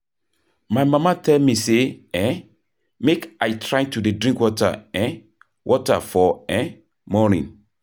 My mama tell me say um make I try to dey drink um water for um morning